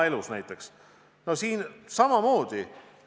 Siin on samamoodi.